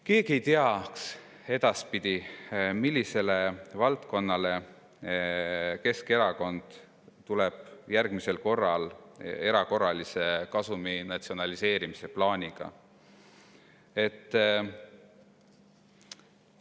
Keegi ei teaks edaspidi, millise valdkonna erakorralise kasumi natsionaliseerimise plaaniga Keskerakond järgmisel korral tuleb.